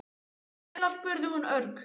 Hvað viltu eiginlega? spurði hún örg.